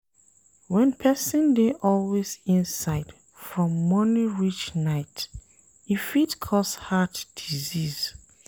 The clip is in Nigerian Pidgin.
When person dey always dey inside from morning reach night e fit cause heart disease